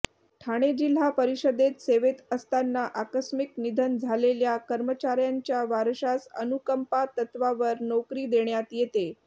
ठाणे जिल्हा परिषदेत सेवेत असताना आकस्मिक निधन झालेल्या कर्मचाऱ्यांच्या वारशास अनुकंपा तत्त्वावर नोकरी देण्यात येते